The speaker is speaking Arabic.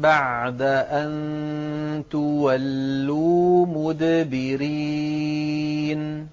بَعْدَ أَن تُوَلُّوا مُدْبِرِينَ